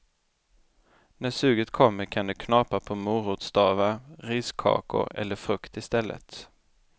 När suget kommer kan du knapra på morotsstavar, riskakor eller frukt i stället.